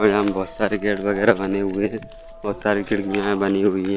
यहाँ बहुत सारे गेट वगैरा बनी हुई है बहुत सारे खिड़कियां बनी हुई है।